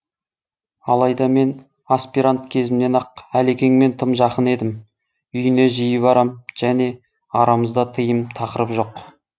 алайда мен аспирант кезімнен ақ әлекеңмен тым жақын едім үйіне жиі барам және арамызда тыйым тақырып жоқ